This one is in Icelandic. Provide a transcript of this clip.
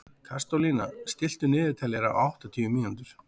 Kristólína, stilltu niðurteljara á áttatíu mínútur.